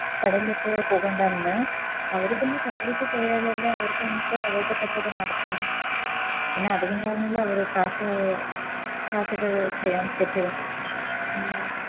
കടൽലേക്ക് പോകണ്ടാന്ന് അവര് പിന്നെ കടലിലേക്ക് പോയാലേ അവർക്ക് വന്നിട്ട് അവർടെ കച്ചോടം നടക്കു പിന്നെ അതുകൊണ്ടാണല്ലേ അവര് Cash cash ഒക്കെ ചെയ്യാൻ പറ്റു